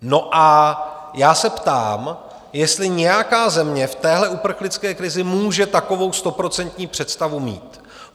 No a já se ptám, jestli nějaká země v téhle uprchlické krizi může takovou stoprocentní představu mít?